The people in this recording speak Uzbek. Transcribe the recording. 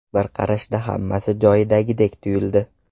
Bir qarashda hammasi joyidadek tuyuldi.